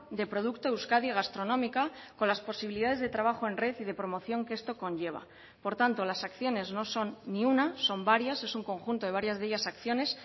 de producto euskadi gastronómica con las posibilidades de trabajo en red y de promoción que esto conlleva por tanto las acciones no son ni una son varias es un conjunto de varias de ellas acciones